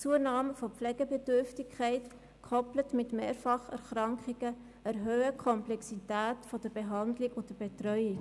Die Zunahme der Pflegebedürftigkeit, gekoppelt mit Mehrfacherkrankungen, erhöht die Komplexität der Behandlung und Betreuung.